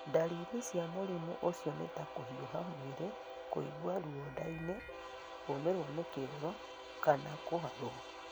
Ndariri cia mũrimũ ũcio nĩ ta kũhiũha mwĩrĩ, kũigua ruo nda-inĩ, kũũmirwo nĩ kĩoro, kana kũharũo.